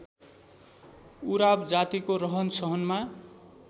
उराव जातिको रहनसहनमा